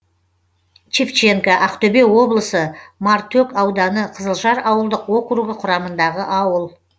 шевченко ақтөбе облысы мартөк ауданы қызылжар ауылдық округі құрамындағы ауыл